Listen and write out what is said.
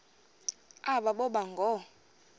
aba boba ngoo